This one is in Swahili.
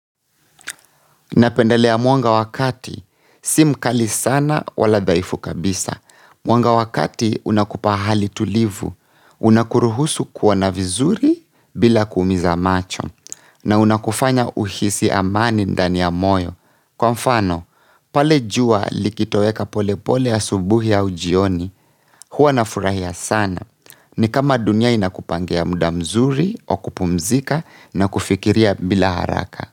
Napendalea mwanga wakati, si mkali sana wala dhaifu kabisa. Mwanga wakati unakupa hali tulivu, unakuruhusu kuona vizuri bila kuumiza macho, na unakufanya uhisi amani ndani ya moyo. Kwa mfano, pale jua likitoeka polepole asubuhi au jioni, huwa nafurahia sana. Ni kama dunia inakupangia muda mzuri, wa kupumzika na kufikiria bila haraka.